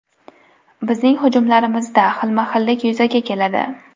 Bizning hujumlarimizda xilma-xillik yuzaga keladi.